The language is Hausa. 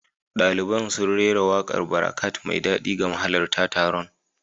Daliban sun rera wakar Barakat mai daɗi ga mahalarta taron.